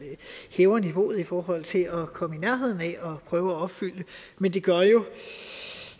hæver niveauet i forhold til at komme i nærheden af at prøve at opfylde men det gør jo